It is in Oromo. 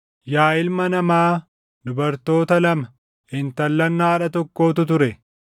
“Yaa ilma namaa, dubartoota lama, intallan haadha tokkootu ture.